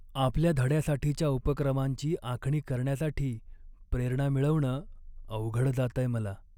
आपल्या धड्यासाठीच्या उपक्रमांची आखणी करण्यासाठी प्रेरणा मिळवणं अवघड जातंय मला.